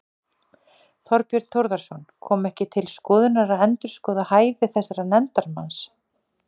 Þorbjörn Þórðarson: Kom ekki til skoðunar að endurskoða hæfi þessa nefndarmanns?